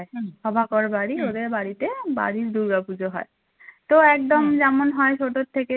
থেকে বাড়ির দুর্গাপূজা হয় তো একদম যেমন হয় ছোটর থেকে